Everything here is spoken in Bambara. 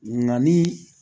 Nka ni